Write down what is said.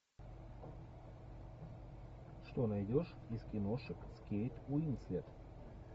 что найдешь из киношек с кейт уинслет